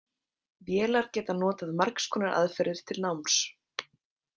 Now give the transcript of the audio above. Vélar geta notað margs konar aðferðir til náms.